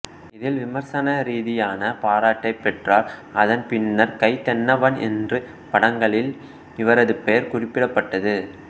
இதில் விமர்சன ரீதியான பாராட்டைப் பெற்றார் அதன் பின்னர் கை தென்னவன் என்று படங்களில் இவரது பெயர் குறிப்பிடப்பட்டது